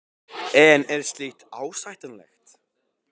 En er slíkt ásættanlegt?